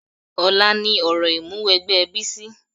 Ọ̀la ni òrò Ìmúwẹgbẹ́ Bísí